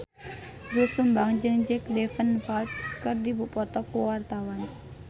Doel Sumbang jeung Jack Davenport keur dipoto ku wartawan